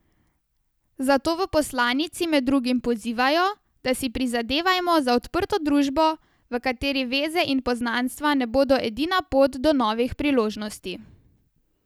Zato v poslanici med drugim pozivajo, da si prizadevajmo za odprto družbo, v kateri veze in poznanstva ne bodo edina pot do novih priložnosti.